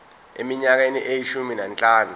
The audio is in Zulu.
eminyakeni eyishumi nanhlanu